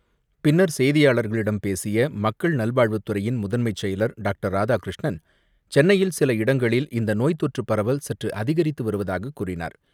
பின்னர் செய்தியாளர்களிடம் பேசியமக்கள் நல்வாழ்வுத்துறையின் முதன்மைச்செயலர் டாக்டர் ராதாகிருஷ்ணன் சென்னையில் சில இடங்களில் இந்தநோய் தொற்றுபரவல் சற்றுஅதிகரித்துவருவதாககூறினார்.